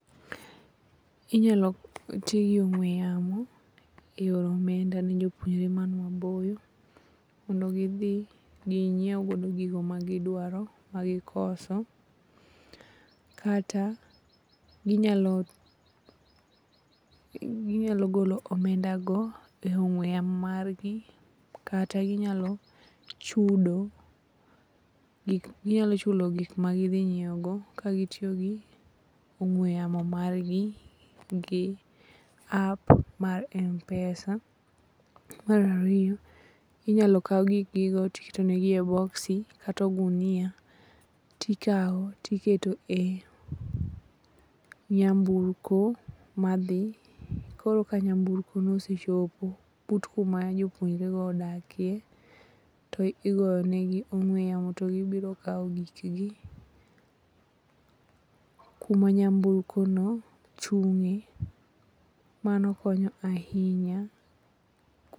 Inyalo tigi ong'we yamo e oro omenda ne jopuonjre man maboyo mondo gidhi ginyiew godo gigo magidwaro magikoso, kata ginyalo golo omendago e ong'we yamo margi kata ginyalo chulo gik magidhi nyioego kagitiyo gi ong'we yamo margi gi app mar mpesa. Mar ariyo, inyalo kaw gikgigo tiketonegi e boksi kata ogunia tikawo tiketo e nyamburko madhi. Koro ka nyamburkono osechopo but kuma jopuonjrego odakie to igonegi ong'we yamo to gibiro kawo gikgi kuma nyamburkono chung'e. Mano konyo ahinya.